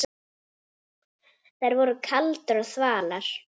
Þær voru kaldar og þvalar.